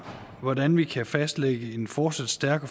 hvordan vi kan fastlægge en fortsat stærk og